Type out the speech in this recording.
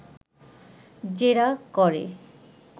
জেরা করে